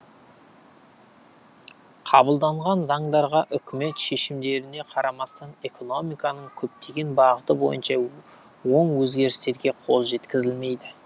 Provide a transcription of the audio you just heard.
қабылданған заңдарға үкімет шешімдеріне қарамастан экономиканың көптеген бағыты бойынша оң өзгерістерге қол жеткізілмейді